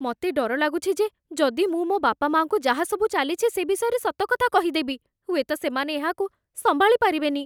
ମତେ ଡର ଲାଗୁଛି ଯେ ଯଦି ମୁଁ ମୋ ବାପାମାଆଙ୍କୁ ଯାହାସବୁ ଚାଲିଚି ସେ ବିଷୟରେ ସତ କଥା କହିଦେବି, ହୁଏତ ସେମାନେ ଏହାକୁ ସମ୍ଭାଳି ପାରିବେନି ।